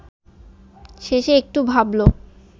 শেষে একটু ভাবল